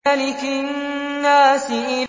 مَلِكِ النَّاسِ